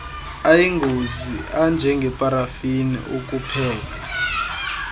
ayingozi anjengeparafini ukupheka